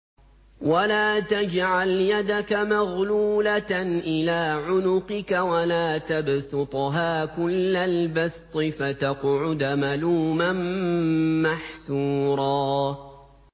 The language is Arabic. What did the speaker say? وَلَا تَجْعَلْ يَدَكَ مَغْلُولَةً إِلَىٰ عُنُقِكَ وَلَا تَبْسُطْهَا كُلَّ الْبَسْطِ فَتَقْعُدَ مَلُومًا مَّحْسُورًا